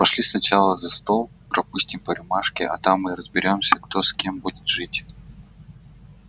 пошли сначала за стол пропустим по рюмашке а там и разберёмся кто с кем будет жить